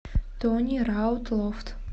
тони раут лофт